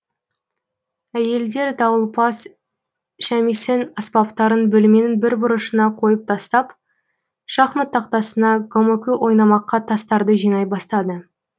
әйелдер дауылпаз шямисэн аспаптарын бөлменің бір бұрышына қойып тастап шахмат тақтасына гомокү ойнамаққа тастарды жинай бастады